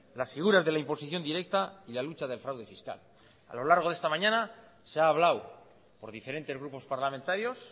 las figuras de la imposición directa y la lucha del fraude fiscal a lo largo de esta mañana se ha hablado por diferentes grupos parlamentarios